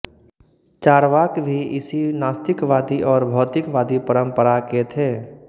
चार्वाक भी इसी नास्तिकवादी और भौतिकवादी परंपरा के थे